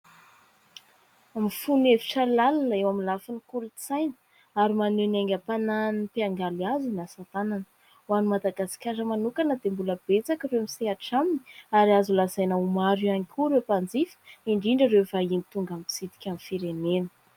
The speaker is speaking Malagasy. Mifono hevitra lalina eo amin'ny lafin'ny kolontsaina ary maneho ny haingam-panahin'ny mpiangaly azy ny asa tanana. Ho an'i Madagasikara manokana dia mbola betsaka ireo misehatra aminy ary azo lazaina ho maro ihany koa ireo mpanjifa, indrindra ireo vahiny tonga mitsidika ny firenena.